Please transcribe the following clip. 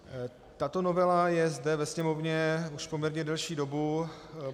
Tato novela je zde ve Sněmovně už poměrně delší dobu.